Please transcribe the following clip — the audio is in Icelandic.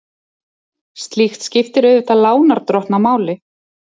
Slíkt skiptir auðvitað lánardrottna máli.